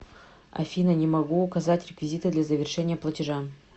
афина не могу указать реквизиты для завершения платежа